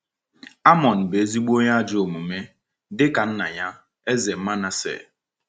Amon bụ ezigbo onye ajọ omume, dịka nna ya, Eze Manasseh.